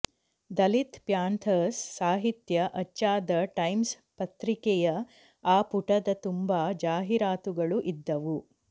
Dalit Panthers ಸಾಹಿತ್ಯ ಅಚ್ಚಾದ Times ಪತ್ರಿಕೆಯ ಆ ಪುಟದ ತುಂಬ ಜಾಹೀರಾತುಗಳು ಇದ್ದವು